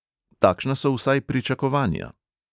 Takšna so vsaj pričakovanja.